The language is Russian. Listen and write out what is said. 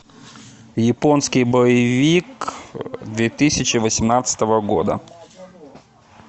японский боевик две тысячи восемнадцатого года